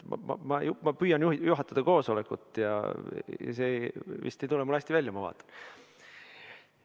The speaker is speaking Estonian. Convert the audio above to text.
Ma püüan juhatada koosolekut, aga see vist ei tule mul hästi välja, ma vaatan.